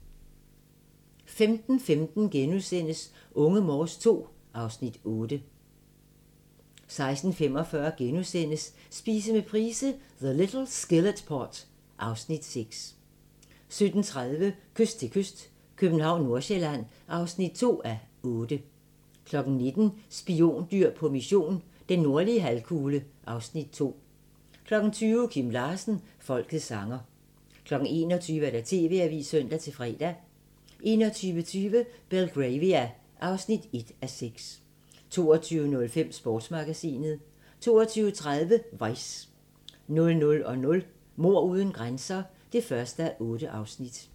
15:15: Unge Morse II (Afs. 8)* 16:45: Spise med Price - The little skillet pot (Afs. 6)* 17:30: Kyst til kyst - København/Nordsjælland (2:8) 19:00: Spiondyr på mission – den nordlige halvkugle (Afs. 2) 20:00: Kim Larsen – folkets sanger 21:00: TV-avisen (søn-fre) 21:20: Belgravia (1:6) 22:05: Sportsmagasinet 22:30: Vice 00:00: Mord uden grænser (1:8)